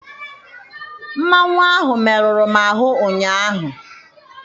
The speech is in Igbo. Mmanwụ ahụ meruru m ahụ ụnyaahụ.